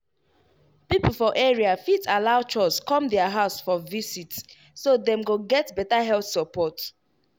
people for area fit allow chws come their house for visit so dem go get better health support.